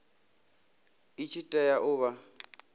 i tshi tea u vha